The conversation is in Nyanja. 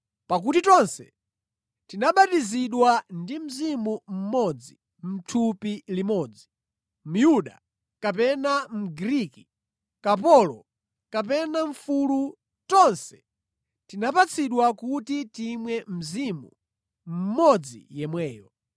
Pakuti tonse tinabatizidwa ndi Mzimu mmodzi mʼthupi limodzi. Myuda kapena Mgriki, kapolo kapena mfulu tonse tinapatsidwa kuti timwe Mzimu mmodzi yemweyo.